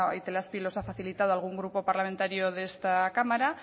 itelazpi los ha facilitado algún grupo parlamentario de esta cámara